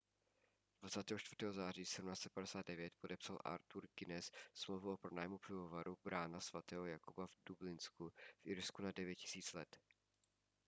24. září 1759 podepsal artur guiness smlouvu o pronájmu pivovaru brána sv jakuba v dublinu v irsku na 9 000 let